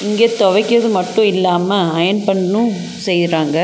இங்க துவைக்கிறது மட்டு இல்லாம அயர்ன் பண்ணு செய்றாங்க.